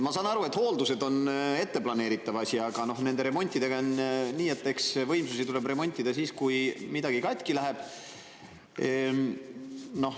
Ma saan aru, et hooldused on ette planeeritav asi, aga remontidega on nii, et eks võimsusi tuleb remontida siis, kui midagi katki läheb.